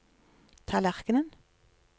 tallerken